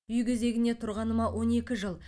үй кезегіне тұрғаныма он екі жыл